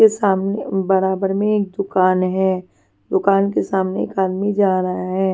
के सामने बराबर में एक दुकान है दुकान के सामने एक आदमी जा रहा है.